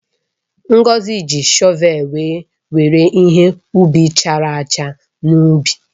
Ngozi ji shọvelụ were were ihe ubi chara acha n’ubi.